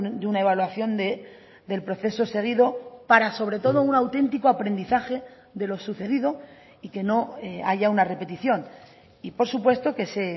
de una evaluación del proceso seguido para sobre todo un auténtico aprendizaje de lo sucedido y que no haya una repetición y por supuesto que ese